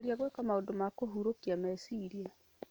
Geria gwĩka maũndũ ma kũhurũkia meciria.